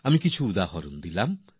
আমি কয়েকটি উদাহরণই দিলাম